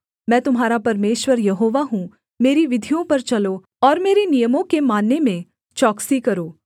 मैं तुम्हारा परमेश्वर यहोवा हूँ मेरी विधियों पर चलो और मेरे नियमों के मानने में चौकसी करो